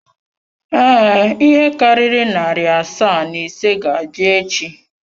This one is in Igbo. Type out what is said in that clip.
Ee, ihe karịrị narị asaa na ise ga-abịa echi.